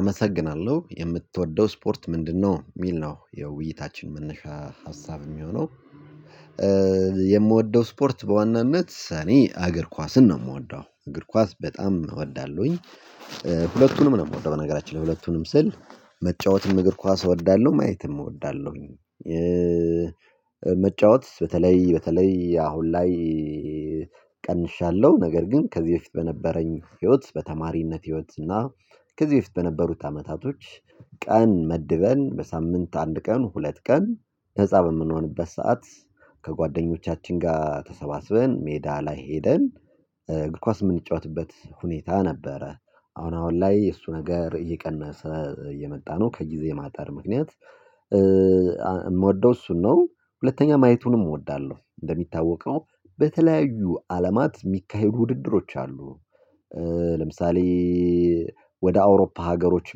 አመሰግናለሁ የምትወደው ስፖርት ምንድነው የሚል ነው የውይይታችን የምንሻ ሀሳብ የሚሆነው? የምወደው ስፖርት በዋናነት እኔ እገር ኳስን ነው የምወደው እገር ኳስ በጣም እወዳለሁኝ። ሁለቱንም ነው የምወደው በነገራችን ላይ ሁለቱንም ስል። መጫወትም እግር ኳስ እወዳለሁ ማየትም እወዳለሁኝ። መጫወት በተለይ በተለይ አሁን ላይ ቀንሻለሁ ነገር ግን ከዚህ በፊት በነበረኝ ህይወት በተማሪነት ህይወት እና ከዚህ በፊት በነበሩት አመታቶች። ቀን መድበን በሳምንት አንድ ቀን ሁለት ቀን ህፃን በምንሆንበት ሰዓት ከጓደኞቻችን ጋር ተሰባስበን ሜዳ ላይ ሄደን ኳስ የምንጫወትበት ሁኔታ ነበረ። አሁን አሁን ላይ የእሱ ነገር እየቀነሰ እየመጣ ነው ከግዜ ማጠር ምክንያት። የምወደው እሱን ነው። ሁለተኛ ማየቱንም እወዳለሁ እንደሚታወቀው በተለያዩ አለማት የሚካሄዱ ውድድሮች አሉ። ለምሳሌ ወደ አውሮፓ ሀገሮች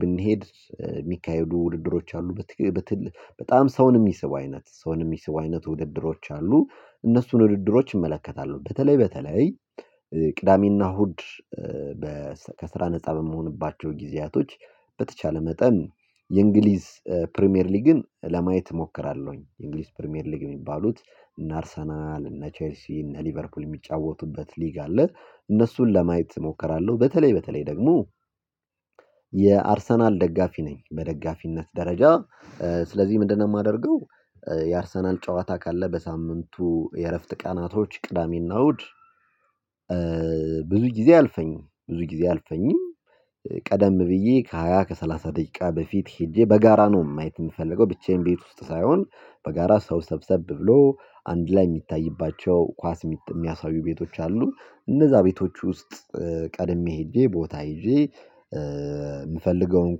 ብንሄድ የሚካሄዱ ውድድሮች አሉ። በጣም ሰውን የሚስቡ አይነት ሰውን የሚስቡ አይነት ውድድሮች አሉ። እነሱን ውድድሮች እመለከታለሁ በተለይ በተለይ ቅዳሜና እሁድ። ከስራ ነፃ በመሆንባቸው ጊዜያቶች በተቻለ መጠን የእንግሊዝ ፕሪሚየር ሊግን ለማየት እሞክራለሁኝ የእንግሊዝ ፕሪሚየር ሊግ የሚባሉት እና አርሰናል እና ቼልሲ እና ሊቨርፑል የሚጫወቱበት ሊግ አለ። እነሱን ለማየት እሞክራለሁ። በተለይ በተለይ ደግሞ የአርሰናል ደጋፊ ነኝ በደጋፊነት ደረጃ። ስለዚህ ምንድነው የማደርገው? የአርሰናል ጨዋታ ካለ በሳምንቱ የእረፍት ቀናቶች ቅዳሜና እሁድ። ብዙ ጊዜ አያልፈኝም ብዙ ጊዜ አያልፈኝም። ቀደም ብዬ ከሃያ ከሰላሳ ደቂቃ በፊት ሄጄ በጋራ ነው ማየት የምፈልገው ብቻዬን ቤት ውስጥ ሳይሆን። በጋራ ሰው ሰብሰብ ብሎ አንድ ላይ የሚታይባቸው ኳስ የሚያሳዩ ቤቶች አሉ። እነዛ ቤቶች ውስጥ ቀድሜ ሄጄ ቦታ ይዤ የምፈልገውን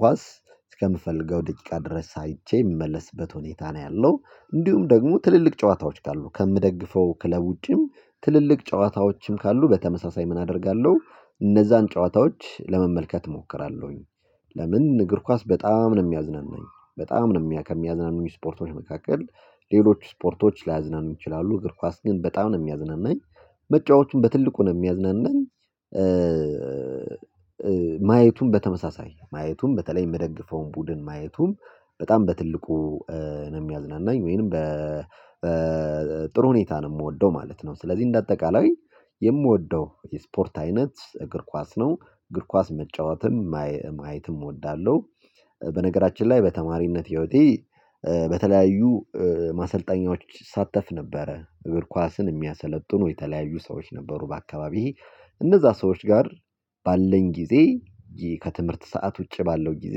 ኳስ እስከምፈልገው ደቂቃ ድረስ አይቼ የምመለስበት ሁኔታ ነው ያለው። እንዲሁም ደግሞ ትልልቅ ጨዋታዎች ካሉ ከምደግፈው ክለብ ውጪም ትልልቅ ጨዋታዎችም ካሉ በተመሳሳይ ምን አደርጋለሁ? እነዛን ጨዋታዎች ለመመልከት እሞክራለሁኝ። ለምን እግር ኳስ በጣም ነው የሚያዝናናኝ? በጣም ነው ከሚያዝናኑኝ ስፖርቶች መካከል ሌሎች ስፖርቶች ላያዝናኑ ይችላሉ እግር ኳስ ግን በጣም ነው የሚያዝናናኝ። መጫወቱም በትልቁ ነው የሚያዝናናኝ። ማየቱን በተመሳሳይ ማየቱን በተለይ የምደግፈውን ቡድን ማየቱን በጣም በትልቁ ነው የሚያዝናናኝ። ወይንም በጥሩ ሁኔታ ነው የምወደው ማለት ነው። ስለዚህ እንደ አጠቃላይ የምወደው የስፖርት አይነት እግር ኳስ ነው። እግር ኳስ መጫወትም ማየትም እወዳለሁ። በነገራችን ላይ በተማሪነት ህይወቴ በተለያዩ ማሰልጠኛዎች እሳተፍ ነበረ እግር ኳስን የሚያሰለጥኑ የተለያዩ ሰዎች ነበሩ በአካባቢህ እነዛ ሰዎች ጋር ባለኝ ጊዜ። ከትምህርት ሰዓት ውጪ ባለው ጊዜ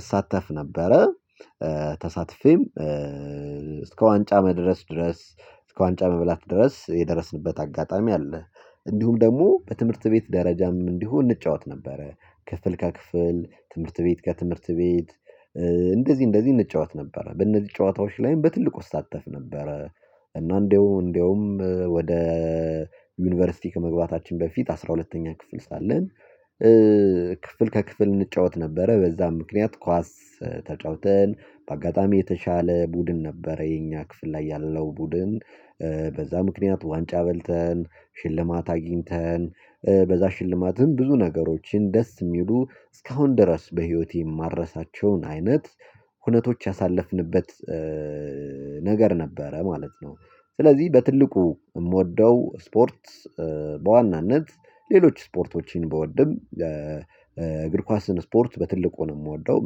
እሳተፍ ነበረ። ተሳትፌም እስከ ዋንጫ መድረስ ድረስ እስከ ዋንጫ መብላት ድረስ የደረስንበት አጋጣሚ አለ። እንዲሁም ደግሞ በትምህርት ቤት ደረጃም እንዲሁ እንጫወት ነበረ ክፍል ከክፍል ትምህርት ቤት ከትምህርት ቤት። እንደዚህ እንደዚህ እንጫወት ነበረ በእነዚህ ጨዋታዎች ላይም በትልቁ እሳተፍ ነበረ። እና እንደውም እንደውም ወደ ዩኒቨርሲቲ ከመግባታችን በፊት አስራ ሁለተኛ ክፍል ሳለን ክፍል ከክፍል እንጫወት ነበረ በዛም ምክንያት ኳስ ተጫውተን በአጋጣሚ የተሻለ ቡድን ነበረ የኛ ክፍል ላይ ያለው ቡድን በዛ ምክንያት ዋንጫ በልተን ሽልማት አግኝተን በዛ ሽልማትም ብዙ ነገሮችን ደስ የሚሉ እስካሁን ድረስ በህይወቴ የማረሳቸውን አይነት ሁነቶች ያሳለፍንበት። ነገር ነበረ ማለት ነው። ስለዚህ በትልቁ እምወደው ስፖርት በዋናነት ሌሎች ስፖርቶችን ብወድም እግር ኳስን ስፖርት በትልቁ ነው የምወደው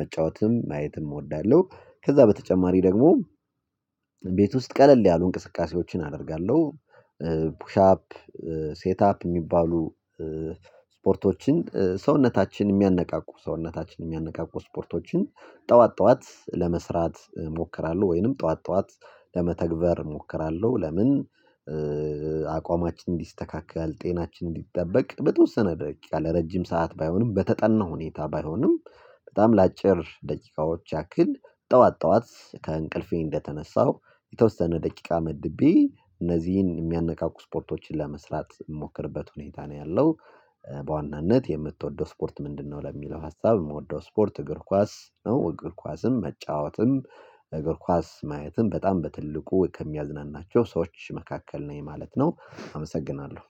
መጫወትም ማየትም እወዳለሁ። ከዛ በተጨማሪ ደግሞ ቤት ውስጥ ቀለል ያሉ እንቅስቃሴዎችን አደርጋለሁ። ፑሻፕ ሴትአፕ እሚባሉ ስፖርቶችን ሰውነታችን የሚያነቃቁ ሰውነታችን የሚያነቃቁ ስፖርቶችን። ጠዋት ጠዋት ለመስራት እሞክራለሁ ወይንም ጠዋት ጠዋት ለመተግበር እሞክራለሁ። ለምን? አቋማችን እንዲስተካከል ጤናችን እንዲጠበቅ በተወሰነ ደረጃ ለረጅም ሰዓት ባይሆንም በተጠና ሁኔታ ባይሆንም በጣም ለአጭር ደቂቃዎች ያክል ጠዋት ጠዋት ከእንቅልፌ እንደተነሳሁ የተወሰነ ደቂቃ መድቤ እነዚህን የሚያነቃቁ ስፖርቶችን ለመስራት እምሞክርበት ሁኔታ ነው ያለው። በዋናነት የምትወደው ስፖርት ምንድነው? ለሚለው ሀሳብ የምወደው ስፖርት እግር ኳስ ነው እግር ኳስም መጫወትም እግር ኳስ ማየትም በጣም በትልቁ ከሚያዝናናቸው ሰዎች መካከል ነኝ ማለት ነው። አመሰግናለሁ